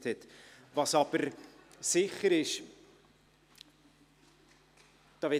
Morgen Vormittag fahren wir um 9.00 Uhr weiter.